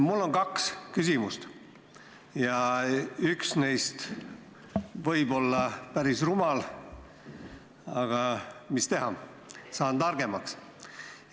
Mul on kaks küsimust ja üks neist võib olla päris rumal, aga mis teha, saan targemaks.